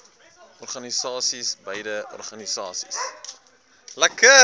organisasies beide organisasies